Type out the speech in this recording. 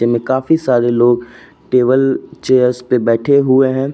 इनमें काफी सारे लोग टेबल चेयर्स पर बैठे हुए हैं।